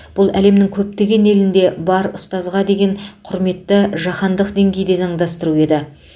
бұл әлемнің көптеген елінде бар ұстазға деген құрметті жаһандық деңгейде заңдастыру еді